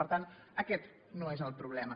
per tant aquest no és el problema